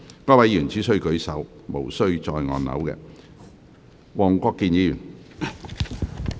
該位議員只須舉手，無須再按鈕。